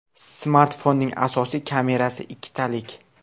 Smartfonning asosiy kamerasi ikkitalik.